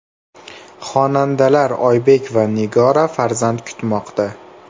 Xonandalar Oybek va Nigora farzand kutmoqda.